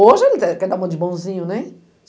Hoje ele quer dar uma de bonzinho, né?